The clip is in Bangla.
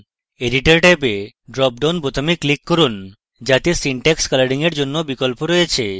editorট্যাবে dropdown বাটনটিতে click করুন যাতে syntax colouring in জন্য বিকল্পthe রয়েছে